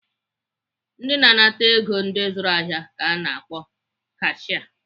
Ndị na-anata ego ndị zụrụ ahịa ka ana akpọ kashia.